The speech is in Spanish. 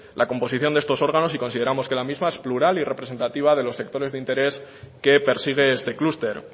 la composición de estos órganos y consideramos que la misma es plural y representativa de los sectores de interés que persigue este clúster